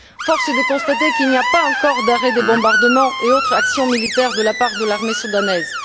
Force est de constater qu'il n'y a pas encore d'arrêt des bombardements et autres actions militaires de la part de l'armée soudanaise.